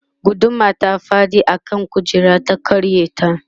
gudumar ta faɗi a kan kujerar ta karya ta